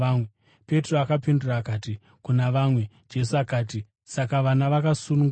Petro akapindura akati, “Kuna vamwe.” Jesu akati, “Saka vana vakasununguka.